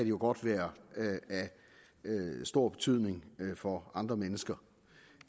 jo godt være af stor betydning for andre mennesker